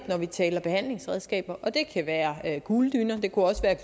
når vi taler behandlingsredskaber og det kan være kugledyner det